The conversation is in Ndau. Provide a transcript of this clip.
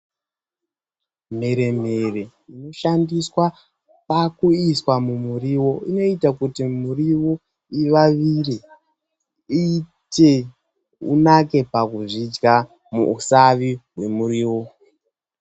Mhere mhere inoshandiswa pakuiswa mumuriwo inoita kuti muriwo ivavire iite unake pakuzvidya muusavi hwemuriwo.